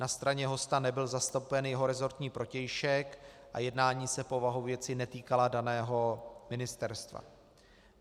Na straně hosta nebyl zastoupen jeho resortní protějšek a jednání se povahou věci netýkala daného ministerstva.